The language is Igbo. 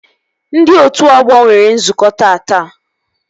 Ndị otu ọgbọ nwere nzukọ taata